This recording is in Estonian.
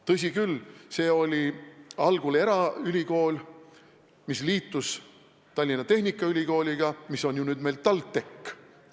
Tõsi küll, see oli algul eraülikool, mis liitus Tallinna Tehnikaülikooliga, mis on ju nüüd meil TalTech.